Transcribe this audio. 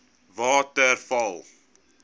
waterval